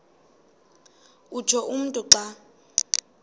utsho umntu xa